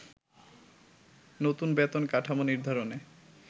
নতুন বেতন কাঠামো নির্ধারণে